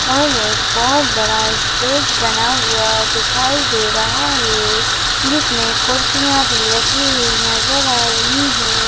और एक बहुत बड़ा स्टेज बना हुआ दिखाई दे रहा है जिसमें कुर्सियां भी रखी हुई नजर आ रहे हैं।